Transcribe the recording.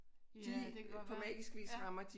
Ja det kan godt være ja